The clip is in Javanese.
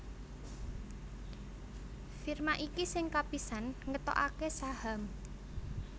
Firma iki sing kapisan ngetokaké saham